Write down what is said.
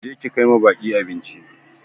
Je ki kai ma baƙi abinci!